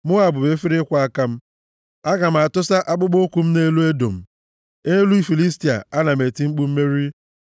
Moab bụ efere ịkwọ aka m, aga m atụsa akpụkpọụkwụ m nʼelu Edọm nʼelu isi Filistia, ana m eti mkpu mmeri.”